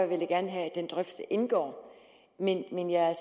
vil jeg gerne have at den drøftelse indgår men jeg er